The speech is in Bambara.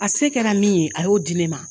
A se kɛra min ye a y'o di ne ma.